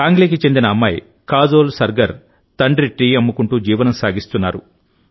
సాంగ్లీకి చెందిన అమ్మాయి కాజోల్ సర్గర్ తండ్రి టీ అమ్ముకుంటూ జీవనం సాగిస్తున్నారు